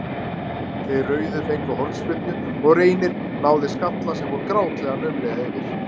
Þeir rauðu fengu hornspyrnu og Reynir náði skalla sem fór grátlega naumlega yfir.